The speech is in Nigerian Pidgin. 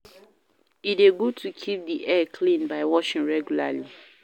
E de good to keep di hair clean by washing regularly